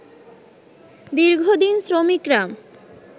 দীর্ঘদিন শ্রমিকরা